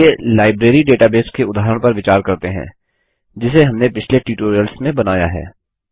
चलिए library database के उदाहरण पर विचार करते हैं जिसे हमने पिछले ट्यूटोरियल्स में बनाया है